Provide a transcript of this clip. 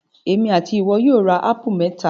Èmi and ìwọ yóò ra ápù mẹ́ta